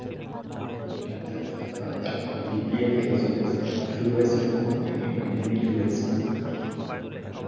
ও আচ্ছা আচ্ছা BPL খেলা চলছেশুরু হয়েছিল কখন? মানে কোন দিন শুরু হয়েছিল?